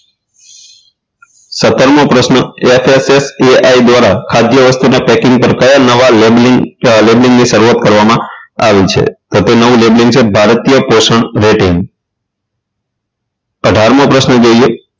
સત્તરમો પ્રશ્ન FFTI દ્વારા ખાદ્ય વસ્તુના packing પર કયા નવા labelling lebeling ની શરૂઆત કરવામાં આવી છે તો તે નવું labelling છે ભારતીય પોષણ rating અઢારમો પ્રશ્ન જોઈએ